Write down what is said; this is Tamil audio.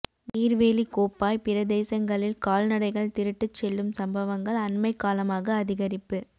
நீர்வேலி கோப்பாய்ப் பிரதேசங்களில் கால்நடைகள் திருட்டுச் செல்லும் சம்பவங்கள் அண்மைக் காலமாக அதிகரிப்பு